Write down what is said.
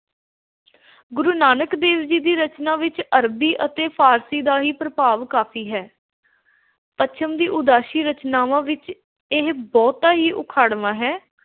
ਗੁਰੂ ਨਾਨਕ ਦੇਵ ਜੀ ਦੀ ਰਚਨਾ ਵਿੱਚ ਅਰਬੀ ਅਤੇ ਫ਼ਾਰਸੀ ਦਾ ਹੀ ਪ੍ਰਭਾਵ ਕਾਫ਼ੀ ਹੈ। ਪੱਛਮ ਦੀ ਉਦਾਸੀ ਰਚਨਾਵਾਂ ਵਿੱਚ ਇਹ ਬਹੁਤਾ ਹੀ ਉਖਾੜਵਾਂ ਹੈ। ਪ